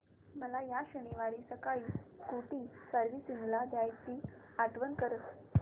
मला या शनिवारी सकाळी स्कूटी सर्व्हिसिंगला द्यायची आठवण कर